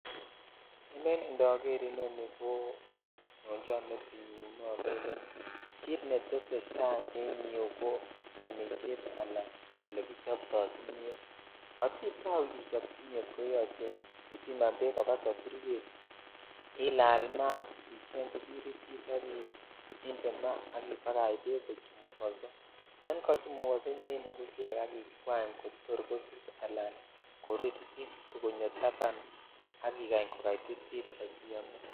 Ele indoger inoni ko nyonchon metinyun ko kit netesetai en iyeu ko omishet ala olekichoptoi kimiet asitau ichop kimiet koyuche ibiman bek koba soburyet ilal maat icheng kibiritit sk inde maa ak ibakach bek kochumukoso yan kachomukoso inyoinde bushek inyoikwany kotor kosis ala kotor koruru isutu konyo taban sk ikany ko kaititit siyom iyam.